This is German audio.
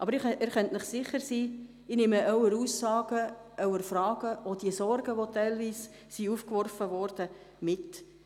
Sie können sich sicher sein, dass ich Ihre Aussagen, Fragen und Sorgen mitnehme.